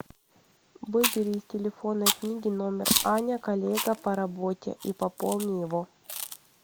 выбери из телефонной книги номер аня коллега по работе и пополни его